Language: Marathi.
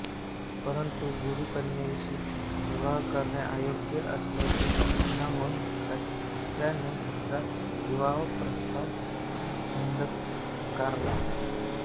परंतु गुरुकन्येशी विवाह करणे अयोग्य असल्याचे सांगून कचाने हिचा विवाह प्रस्ताव झिडकारला